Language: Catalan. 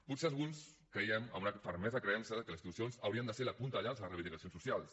potser alguns creiem amb una ferma creença que les institucions haurien de ser la punta de llança de les reivindicacions socials